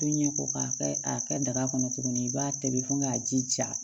To ɲɛ ko k'a kɛ a kɛ daga kɔnɔ tuguni i b'a tobi fo k'a ji ja